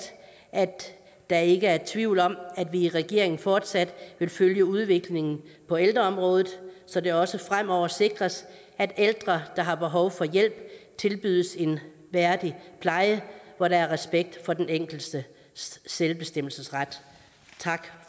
at der ikke er tvivl om at vi i regeringen fortsat vil følge udviklingen på ældreområdet så det også fremover sikres at ældre der har behov for hjælp tilbydes en værdig pleje hvor der er respekt for den enkeltes selvbestemmelsesret tak